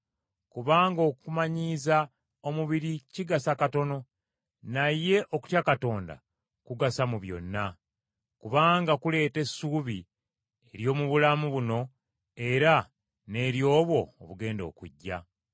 Kubanga okumanyiiza omubiri kigasa katono, naye okutya Katonda kugasa mu byonna, kubanga kuleeta essuubi ery’omu bulamu buno era n’ery’obwo obugenda okujja.